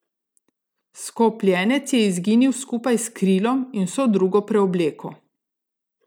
Skopljenec je izginil skupaj s krilom in vso drugo preobleko.